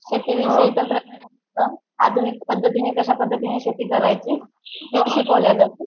शेतीविषयी तंत्रज्ञान असतं, आधुनिक पद्धातिंने कशा प्रकारे शेती करायची ते शिकवल्या जात.